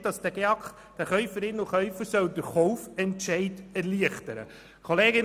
Dort ist zu lesen, dass der GEAK den Käuferinnen und Käufern den Kaufentscheid erleichtern soll.